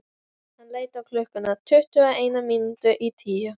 Hann leit á klukkuna: tuttugu og eina mínútu í tíu.